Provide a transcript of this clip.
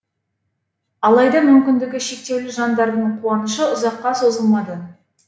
алайда мүмкіндігі шектеулі жандардың қуанышы ұзаққа созылмады